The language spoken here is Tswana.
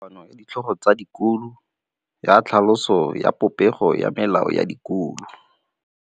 Go na le kopanô ya ditlhogo tsa dikolo ya tlhaloso ya popêgô ya melao ya dikolo.